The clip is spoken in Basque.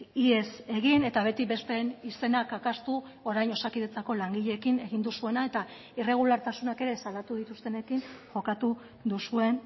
ihes egin eta beti besteen izena kakaztu orain osakidetzako langileekin egin duzuena eta irregulartasunak ere salatu dituztenekin jokatu duzuen